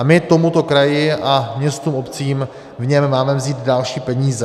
A my tomuto kraji, městům a obcím v něm, máme vzít další peníze.